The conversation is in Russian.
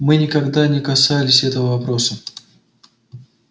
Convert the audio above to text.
мы никогда не касались этого вопроса